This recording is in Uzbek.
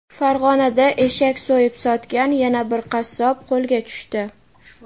Farg‘onada eshak so‘yib sotgan yana bir qassob qo‘lga tushdi.